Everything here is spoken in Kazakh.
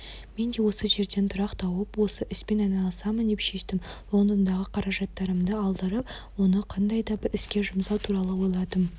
мен де осы жерден тұрақ тауып осы іспен айналысамын деп шештім лондондағы қаражаттарымды алдырып оны қандай да бір іске жұмсау туралы ойладым